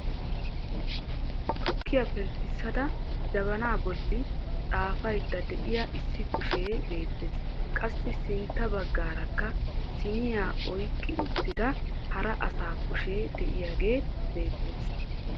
Tukkiya penttisada jabana bolli xaafaydde de'iya issi kushee beettes. Qassi sintta baggaarakka siiniya oyqqi uttida hara asaa kushee de'iyaagee beettes.